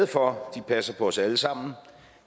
for de passer på os alle sammen